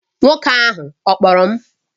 Nwoke ahụ ọ kpọrọ m?